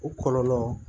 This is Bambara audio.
O kɔlɔlɔ